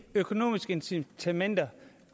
økonomiske incitamenter